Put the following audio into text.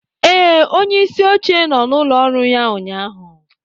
Ee, onyeisi oche nọ n'ụlọ ọrụ ya ụnyahụ